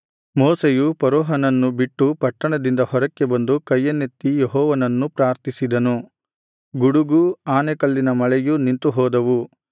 ಮೋಶೆಯು ಫರೋಹನನ್ನು ಬಿಟ್ಟು ಪಟ್ಟಣದಿಂದ ಹೊರಕ್ಕೆ ಬಂದು ಕೈಯನ್ನೆತ್ತಿ ಯೆಹೋವನನ್ನು ಪ್ರಾರ್ಥಿಸಿದನು ಗುಡುಗೂ ಆನೆಕಲ್ಲಿನ ಮಳೆಯೂ ನಿಂತುಹೋದವು